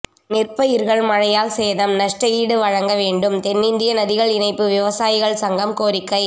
நெற்பயிர்கள் மழையால் சேதம் நஷ்டஈடு வழங்க வேண்டும் தென்னிந்திய நதிகள் இணைப்பு விவசாயிகள் சங்கம் கோரிக்கை